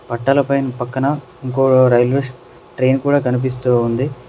పట్టల పైన పక్కన ఇంకో రైల్వే ట్రైన్ కూడా కనిపిస్తూ ఉంది.